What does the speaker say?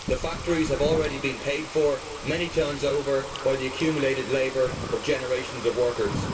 The factories have already been paid for many times over by the accumulated labour of generations of workers.